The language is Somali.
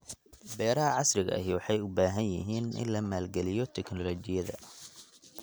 Beeraha casriga ahi waxay u baahan yihiin in la maalgeliyo tignoolajiyada.